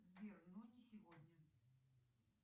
сбер но не сегодня